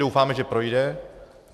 Doufáme, že projde.